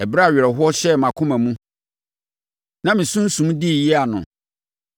Ɛberɛ a awerɛhoɔ hyɛɛ mʼakoma mu na me sunsum dii yea no,